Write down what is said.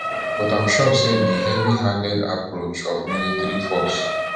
but im sure say di heavyhanded approach of military force